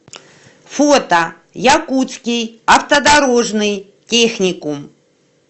фото якутский автодорожный техникум